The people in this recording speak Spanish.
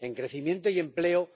en crecimiento y empleo